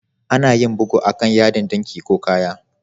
Ana yin bugu a'kan yadin dinki ko kaya.